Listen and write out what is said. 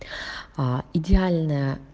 а идеальная